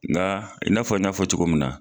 Nga i n'a fɔ i y'a fɔ cogo min na